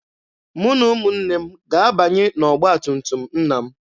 Mụ na ụmụnne m ga-abanye n'ọgba tum tum nna m.